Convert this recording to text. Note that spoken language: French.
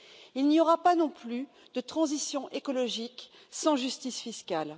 Il n'y aura pas non plus de transition écologique sans justice fiscale.